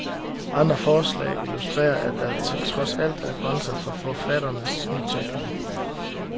Andre forslag illustrerer, at der trods alt er grænser for forfatternes nytænkning.